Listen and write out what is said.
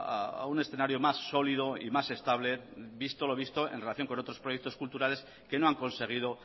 a un escenario más sólido y más estable visto lo visto en relación a otros proyectos culturales que no han conseguido